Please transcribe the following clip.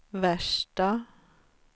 värsta